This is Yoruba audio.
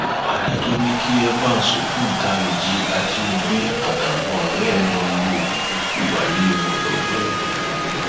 adájọ ní kí evans ògbóǹtarìgì ajínigbé àtàwọn ọrẹ ẹ lọọ lo ìyókù ayé wọn lọgbà ẹwọn